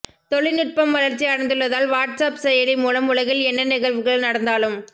தொழில் நுட்பம் வளர்ச்சி அடைந்துள்ளதால் வாட்ஸ் ஆப் செயலி மூலம் உலகில் என்ன நிகழ்வுகள் நடந்தாலும்